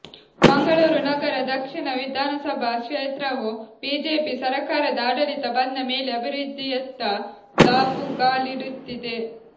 ಮಂಗಳೂರು ನಗರ ದಕ್ಷಿಣ ವಿಧಾನಸಭಾ ಕ್ಷೇತ್ರವು ಬಿಜೆಪಿ ಸರಕಾರದ ಆಡಳಿತ ಬಂದ ಮೇಲೆ ಅಭಿವೃದ್ಧಿಯತ್ತ ದಾಪುಗಾಲಿಡುತ್ತಿದೆ